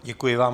Děkuji vám.